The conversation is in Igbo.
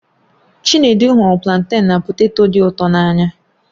Chinedu hụrụ planten na poteto dị ụtọ n'anya.